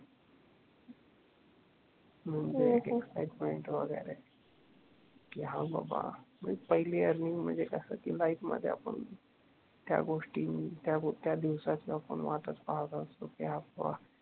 हम्म hmm excitement वगैरे कि हां बाबा पहिली अर्निंग म्हणजे कसं कि लाईफ मध्ये आपण त्या गोष्टी त्या दिवसाची वाटच पाहत असतो कि हां बाबा